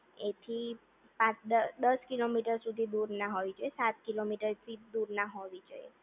એથી પાંચ દસ દસ કિલોમીટર દૂર ના હોવી જોઈએ સાત કિલોમીટરથી દૂર ના હોવી જોઈએ